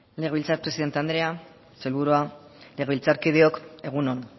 legebiltzar presidente andrea sailburua legebiltzarkideok egun on